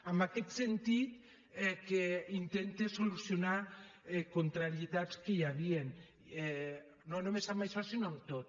en aquest sentit intenta solucionar contrarietats que hi havia no només en això sinó en tot